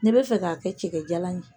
Ne bɛ fɛ k'a kɛ cɛkɛjan na